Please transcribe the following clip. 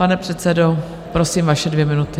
Pane předsedo, prosím, vaše dvě minuty.